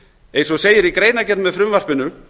eins og segir í greinargerð með frumvarpinu